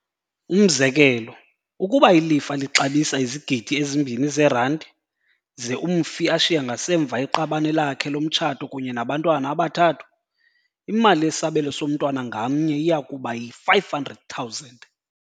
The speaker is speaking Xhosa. Umzekelo, ukuba ilifa lixabisa izigidi ezimbini zeranti, ze umfi ashiye ngasemva iqabane lakhe lomtshato kunye nabantwana abathathu, imali yesabelo somntwana ngamnye iyakuba yi-R500 000.